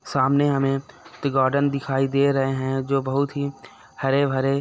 सामने हमे ती गार्डन दिखाई दे रहे है जो बहुत ही हरे-भरे--